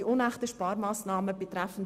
Zu den unechten Sparmassnahmen betreffend